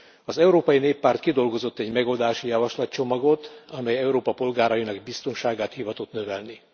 Az Európai Néppárt kidolgozott egy megoldási javaslatcsomagot, amely Európa polgárainak biztonságát hivatott növelni.